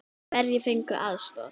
Hverjir fengu aðstoð?